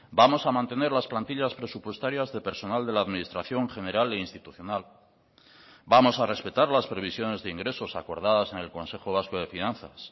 vamos a mantener las plantillas presupuestarias de personal de la administración general e institucional vamos a respetar las previsiones de ingresos acordadas en el consejo vasco de finanzas